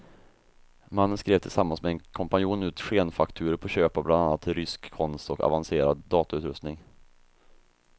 Mannen skrev tillsammans med en kompanjon ut skenfakturor på köp av bland annat rysk konst och avancerad datautrustning.